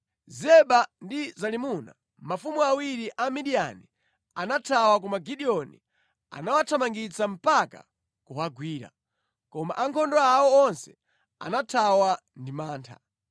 Zeba ndi Zalimuna, mafumu awiri a Amidiyani anathawa koma Gideoni anawathamangitsa mpaka kuwagwira. Koma ankhondo awo onse anathawa ndi mantha.